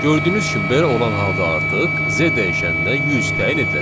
Gördüyünüz kimi, belə olan halda artıq Z dəyişəninə 100 təyin ediləcək.